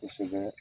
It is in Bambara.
Kosɛbɛ